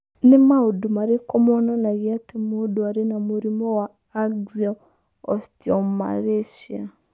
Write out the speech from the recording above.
Nĩ maũndũ marĩkũ monanagia atĩ mũndũ arĩ na mũrimũ wa Axial osteomalacia?